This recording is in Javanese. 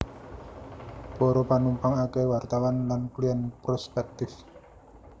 Para panumpang akèhé wartawan lan klièn prospèktif